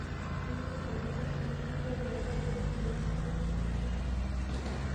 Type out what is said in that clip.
Konon olo takyindaige nairobi en karit ap maat